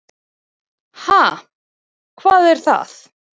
Ha, hvað er það.